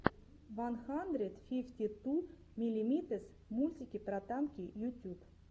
ван хандрэд фифти ту миллимитэс мультики про танки ютюб